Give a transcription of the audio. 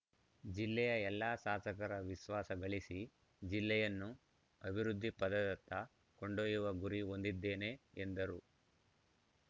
ಜಿಲ್ಲೆಯ ಎಲ್ಲ ಶಾಸಕರ ವಿಶ್ವಾಸ ಗಳಿಸಿ ಜಿಲ್ಲೆಯನ್ನು ಅಭಿವೃದ್ಧಿಪಥದತ್ತ ಕೊಂಡೊಯ್ಯುವ ಗುರಿ ಹೊಂದಿದ್ದೇನೆ ಎಂದರು